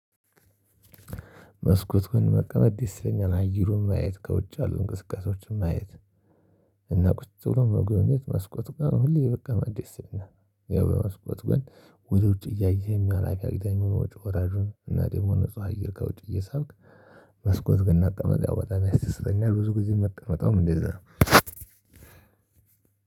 መስኮት ግን መቀመጥ ደስ ይለኛል አየሩን ማየት ከውጭ ያ ሉ እንቅስቃሴዎችን ማየት እና ቁጭ ብሎ መጎብኘት መስኮት ጋር ሁሌ በጣም ደስ ይለኛል። መስኮት ግን ወደ ውጭ እያየህ አላፊ አግዳሚውን ወጪ ወራጁን እና ደግሞ ንጹህ አየር ከውጭ እየሳብክ መስኮት ጋር መቀመጥ ያው በጣም ደስ ይለኛል ያው ብዙ ጊዜ ምቀመጠውም ያው እንደዛ ነው።